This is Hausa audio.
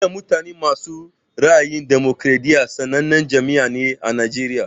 Jam'iyar mutane masu ra'ayin damokariɗiya sannanen jam'iyya ne ã Najeriya.